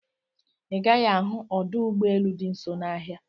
Ị gaghị ahụ ọdọ ụgbọelu dị nso n'ahia